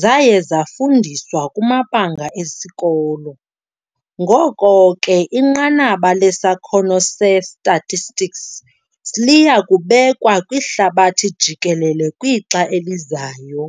zaye zafundiswa kumabanga esikolo, Ngoko ke inqanaba lesakhono se-statistics liyakubekwa kwihlabathi jikelele kwixa elizayo.